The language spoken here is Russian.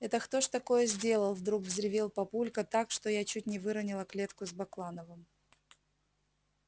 это кто ж такое сделал вдруг взревел папулька так что я чуть не выронила клетку с баклановым